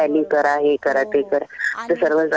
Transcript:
बरोबर हो आणि